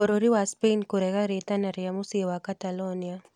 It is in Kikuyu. Bũrũri wa Spain kũrega rĩtana rĩa mũciĩ wa Catalonia